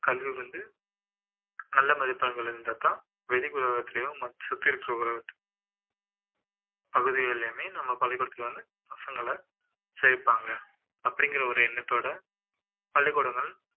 கல்வி வந்து நல்ல மதிப்பெண்கள் இருந்தாதான் வெளி உலகத்துலயும் மற்ற சுற்றி இருக்கிற உலகத்துலயும் பகுதிகளிலுமே நம்ம பள்ளிக்கூடத்துல வந்து பசங்கள சேர்ப்பாங்க அப்படிங்கிற ஒரு எண்ணத்தோட பள்ளிக்கூடங்கள்